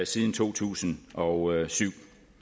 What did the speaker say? siden to tusind og syv